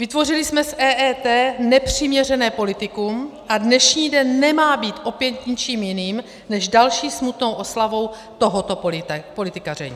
Vytvořili jsme z EET nepřiměřené politikum a dnešní den nemá být opět ničím jiným než další smutnou oslavou tohoto politikaření.